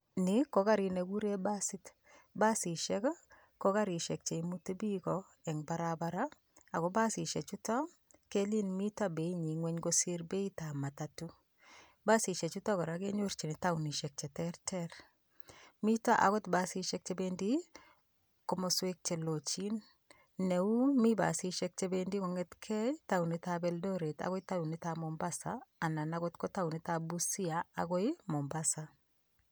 Nii ko karit nekikuren basit, basishek ko karishek cheimuti biik en barabara ak ko basishechuton keleen mii ngweny beinywan kosir beitab matato, basishechuton kora kenyorchin taonishek cheterter, miten akot basishek chebendi komoswek chelochin, neuu mii basishek chebendi kong'eteng'e taonitab Eldoret akoi taonitab Mombasa anan okot ko taonitab Busia akoi Mombasa.